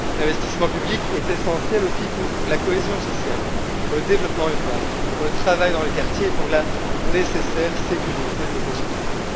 L'investissement public est essentiel aussi pour la cohésion sociale, pour le développement urbain, pour le travail dans les quartiers et pour la nécessaire sécurité de nos concitoyens.